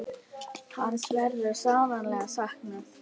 Hans verður sárlega saknað.